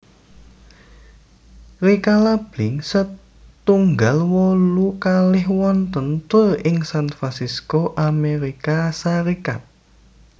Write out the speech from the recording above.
Rikala Blink setunggal wolu kalih wontèn tur ing San Fransisco Amérika Sarékat